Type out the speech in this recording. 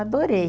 Adorei.